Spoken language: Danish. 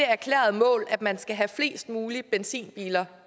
erklærede mål at man skal have flest mulige benzinbiler